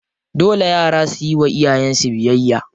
Dole yara suyi wa iyayen su biyayya.